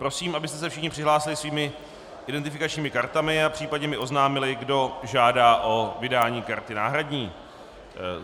Prosím, abyste se všichni přihlásili svými identifikačními kartami a případně mi oznámili, kdo žádá o vydání karty náhradní.